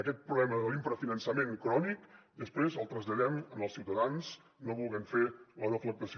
aquest problema de l’infrafinançament crònic després el traslladem als ciutadans no volent fer la deflactació